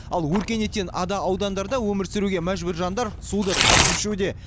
ал өркениеттен ада аудандарда өмір сүруге мәжбүр жандар суды тасып ішуде